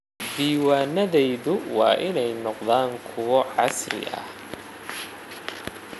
Diiwaanadayadu waa inay noqdaan kuwo casri ah.